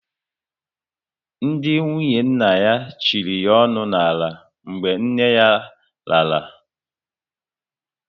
Ndị nwunye nna ya chịrị ya onu n'ala mgbe nne yá lara